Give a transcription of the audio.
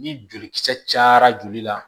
Ni jolikisɛ cayara joli la